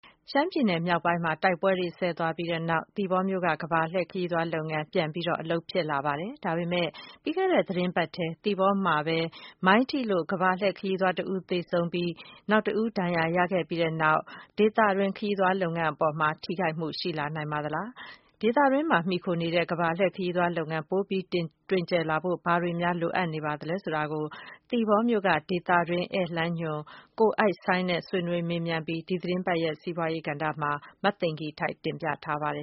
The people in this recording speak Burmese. ရှမ်းပြည် မြောက်ပိုင်း တိုက်ပွဲတွေ အပြီးမှာ သီပေါမြို့က ကမ္ဘာလှည့် ခရီးသွားလုပ်ငန်း ပြန်ပြီး အလုပ်ဖြစ်လာပါတယ်။ ဒါပေမယ့် ပြီးခဲ့တဲ့ သီတင်းပတ်ထဲ သီပေါမှာ ခရီးသွားရင်း မိုင်းထိလို့ ကမ္ဘာလှည့် ခရီးသွား တဦး သေဆုံးပြီး တဦး ဒဏ်ရာ ရခဲ့ပြီးနောက် ဒေသတွင်း ခရီးသွား လုပ်ငန်း အပေါ်မှာ ထိခိုက်မှု ရှိလာနိုင်ပါသလား၊ ဒေသတွင်းမှာ မှီခိုနေတဲ့ ကမ္ဘာလှည့် ခရီးသွား လုပ်ငန်း ပိုပြီး တွင်ကျယ်လာဖို့ ဘာတွေ များ လိုအပ်နေပါသလဲ ဆိုတာကို သီပေါမြို့က ဒေသတွင်း ဧည့်လမ်းညွှန် ကိုအိုက်စိုင်းနဲ့ ဆွေးနွေးမေးမြန်းပြီး ဒီသီတင်းပတ် စီးပွားရေး ကဏ္ဍမှာ မသိင်္ဂ ီထိုက် တင်ပြထားပါတယ